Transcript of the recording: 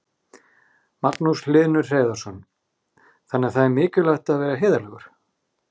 Magnús Hlynur Hreiðarsson: Þannig það er mikilvægt að vera heiðarlegur?